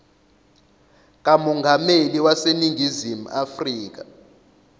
kamongameli waseningizimu afrika